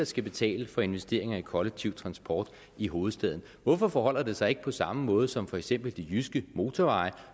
skal betale for investeringer i kollektiv transport i hovedstaden hvorfor forholder det sig ikke på samme måde som med for eksempel de jyske motorveje